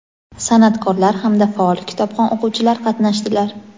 san’atkorlar hamda faol kitobxon o‘quvchilar qatnashdilar.